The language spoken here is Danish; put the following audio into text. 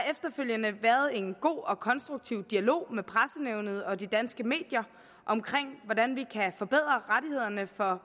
efterfølgende været en god og konstruktiv dialog med pressenævnet og de danske medier om hvordan vi kan forbedre rettighederne for